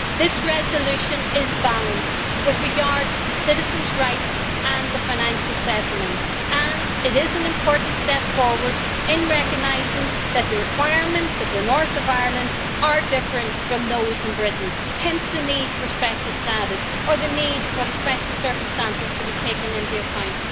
This resolution is balanced with regard to citizens' rights and the financial settlement, and it is an important step forward in recognising that the requirements of the North of Ireland are different from those of Britain. Hence the need for special status or the need for the special circumstances to be taken into account.